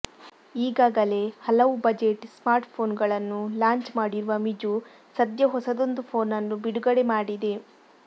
ಈಗಾಗಲೇ ಹಲವು budget smart phone ಗಳನ್ನು ಲಾಂಚ್ ಮಾಡಿರುವ ಮಿಜು ಸದ್ಯ ಹೊಸದೊಂದು ಫೋನ್ ಅನ್ನು ಬಿಡುಗಡೆ ಮಾಡಿದೆ